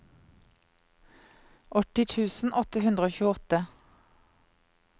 åtti tusen åtte hundre og tjueåtte